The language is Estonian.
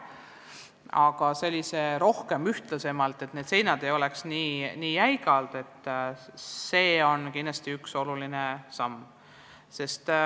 Aga see, et need seinad ei oleks nii jäigad, on kindlasti üks oluline samm.